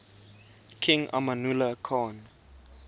king amanullah khan